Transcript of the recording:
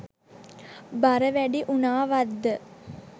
බර වැඩි වුනාවත්ද?